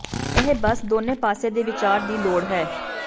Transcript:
ਇਹ ਬਸ ਦੋਨੋ ਪਾਸੇ ਦੇ ਵਿਚਾਰ ਦੀ ਲੋੜ ਹੈ